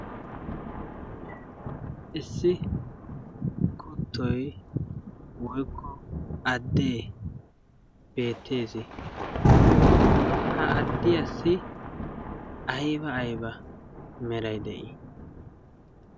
issi kuttoi woikko addee beettees. ha addiyaassi aiba aiba merai de7ii?